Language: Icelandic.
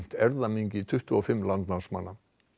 erfðamengi tuttugu og fimm landnámsmanna